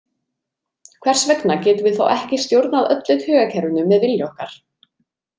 Hvers vegna getum við þá ekki stjórnað öllu taugakerfinu með vilja okkar?